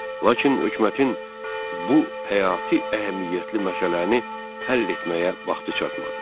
Lakin hökumətin bu həyati əhəmiyyətli məsələni həll etməyə vaxtı çatmadı.